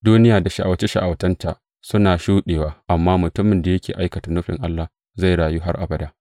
Duniya da sha’awace sha’awacenta suna shuɗewa, amma mutumin da yake aikata nufin Allah, zai rayu har abada.